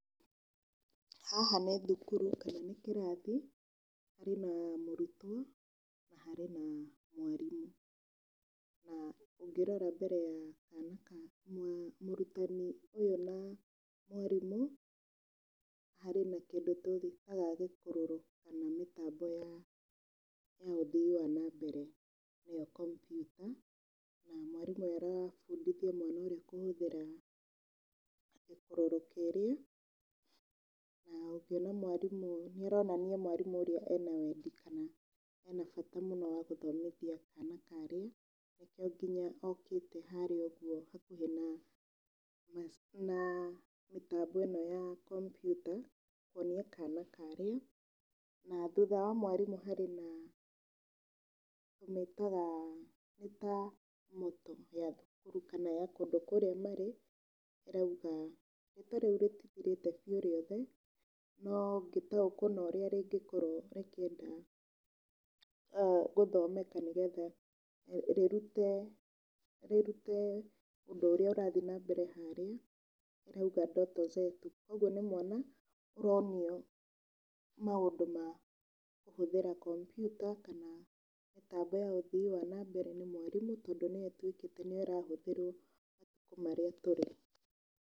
Haha nĩ thukuru kana nĩ kĩrathi. Harĩ na mũrutwo na harĩ na mwarimũ. Na ũngĩrora mbere ya mũrutwo ũyũ na mwarimũ harĩ na kĩndũ twĩtaga gĩkororo kana mĩtambo ya ũthii wa na mbere, nĩyo kompiuta. Na mwarĩmũ ũyũ arabundithia mwana ũrĩa kũhũthĩra gĩkororo kĩĩrĩa, na ũngiona mwarimũ, nĩĩronania mwarimũ ũrĩa ena wendi kana ena bata mũno wa gũthomithia kana karĩa. Nĩkĩo nginya okĩte harĩa ũguo hakuhĩ na mĩtambo ĩno ya kompiuta kuonia kana karĩa. Na thutha wa mwarimũ harĩ na, tũmĩtaga, nĩ ta motto ya thukuru kana ya kũndũ kũrĩa marĩ ĩrauga..., rĩtwa rĩu rĩtithirĩte biũ rĩothe, no ngĩtaũkwo na ũrĩa ringĩkorwo rĩkĩenda gũthomeka nĩ getha rĩrute rĩrute ũndũ ũrĩa ũrathiĩ na mbere harĩa ĩrauga ' ndoto zetu'. Kũoguo nĩ mwana ũronio maũndũ ma kũhũthĩra kompiuta kana mĩtambo ya ũthii wa na mbere nĩ mwarimũ, tondũ nĩyo ĩtuĩke nĩyo ĩrahũthĩrwo matũkũ marĩa tũrĩ.